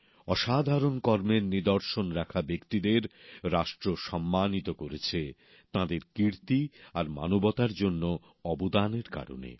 অসাধারণ কর্মের নিদর্শন রাখা ব্যক্তিদের রাষ্ট্র সম্মানিত করেছে তাঁদের কীর্তি আর মানবতার জন্য অবদানের কারণে